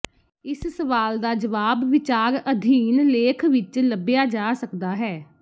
ਇਸ ਸਵਾਲ ਦਾ ਜਵਾਬ ਵਿਚਾਰ ਅਧੀਨ ਲੇਖ ਵਿੱਚ ਲੱਭਿਆ ਜਾ ਸਕਦਾ ਹੈ